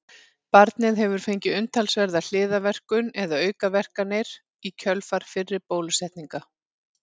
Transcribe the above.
Barnið hefur fengið umtalsverða hliðarverkun eða aukaverkanir í kjölfar fyrri bólusetninga.